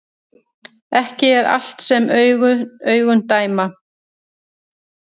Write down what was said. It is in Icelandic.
Ekki er allt sem augun dæma